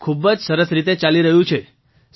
મંજૂરજી ખૂબ જ સરસ રીતે ચાલી રહ્યું છે